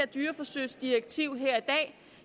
dyreforsøgsdirektiv her